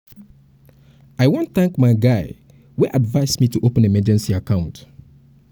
um i wan thank my guy wey advice me to open emergency account